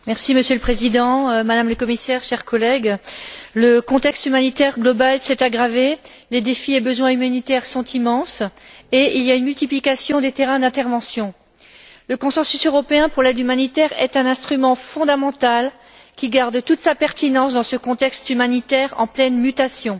Monsieur le Président, Madame la Commissaire, chers collègues, le contexte humanitaire global s'est aggravé, les défis et besoins humanitaires sont immenses et il y a une multiplication des terrains d'intervention. Le consensus européen pour l'aide humanitaire est un instrument fondamental qui garde toute sa pertinence dans ce contexte humanitaire en pleine mutation.